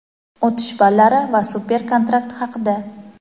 o‘tish ballari va super kontrakt haqida.